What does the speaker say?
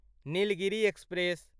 Nilgiri express